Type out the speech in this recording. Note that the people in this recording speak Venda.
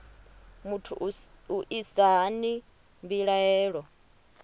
muthu u isa hani mbilaelo